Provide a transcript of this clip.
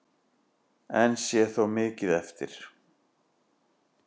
Enn sé þó mikið eftir.